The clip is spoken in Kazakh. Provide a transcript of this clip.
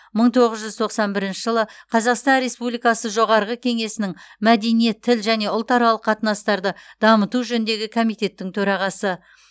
мың тоғыз жүз тоқсан бірінші жылы қазақстан республикасы жоғарғы кеңесінің мәдениет тіл және ұлтаралық қатынастарды дамыту жөніндегі комитеттің төрағасы